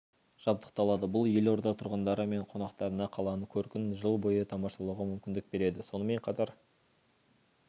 жабдықталады бұл елорда тұрғындары мен қонақтарына қаланың көркін жыл бойы тамашалауға мүмкіндік береді сонымен қатар